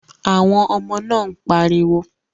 Àwọn ọmọ náà ń pariwo